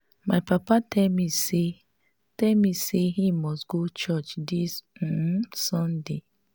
my papa tell me say tell me say he must go church dis um sunday